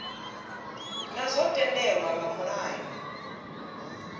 naa zwo tendelwa nga mulayo